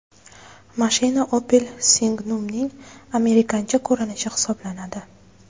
Mashina Opel Signum’ning amerikancha ko‘rinishi hisoblanadi.